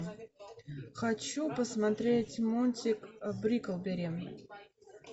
хочу посмотреть мультик бриклберри